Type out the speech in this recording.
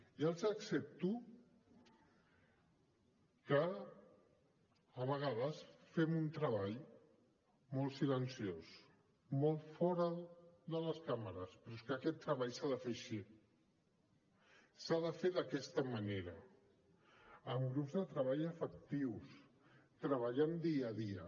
ja els accepto que a vegades fem un treball molt silenciós molt fora de les càmeres però és que aquest treball s’ha de fer així s’ha de fer d’aquesta manera amb grups de treball efectius treballant dia a dia